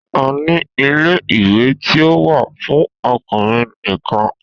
A ní ilé ìwé tí ó wà fún ọkùnrin nìkan.